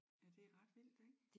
Ja det er ret vildt ik?